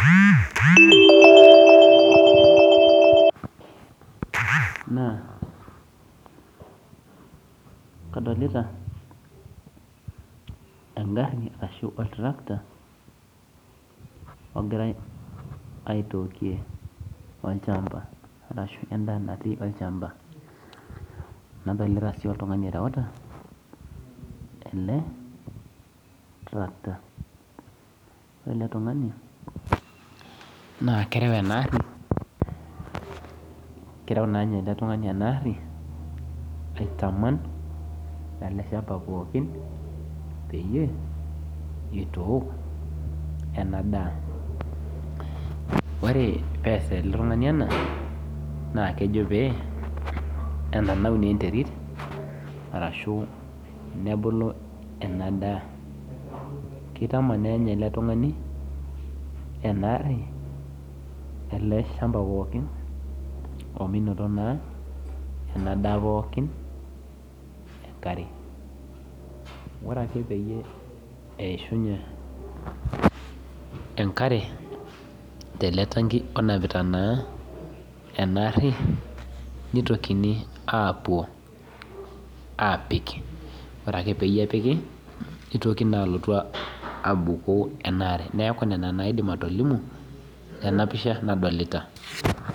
Naa kadolita engari ashuu otarakita ogirai atookiie olchamba nadolita sii oltung'ani oreuta oltarakita naa keruu ena aari aitaman ele shamba pookin pee eitook en daa pee enananu naa enterit nebulu ena daa keitaman naa ele tung'ani ena aari ele shamba pookin emenoto ena daa enkare ore ake peyie eishinye enkare tenetanki neitokini aapuo aapuk ore ake pee epiki neitoki alotu apiku ena aare